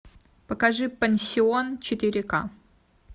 покажи пансион четыре к